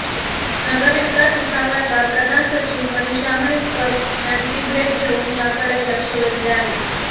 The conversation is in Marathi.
नगरविकास विभागाच्या प्रधान सचिव मनिषा म्हैसकर यांची भेट घेऊन याकडे लक्ष वेधले आहे